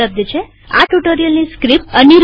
આ ટ્યુ્ટોરીઅલની સ્ક્રીપ્ટ અનીરબન દ્વારા બનાવેલ છે